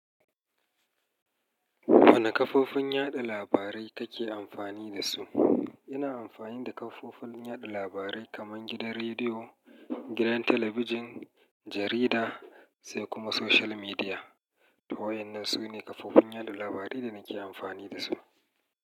Wane kafofin yada labarai kake amfani da su? Ina amfani da kafofin yada labarai kamar gidan rediyo, gidan talabijin, jarida sai kuma social media. To wa yannan sune kafofin yada labarai da nake amfani da su.